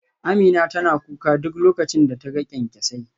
Amina tana kuka duk lokacin da ta ga kyankyasai